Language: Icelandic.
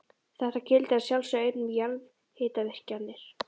Þetta gildir að sjálfsögðu einnig um jarðhitavirkjanir.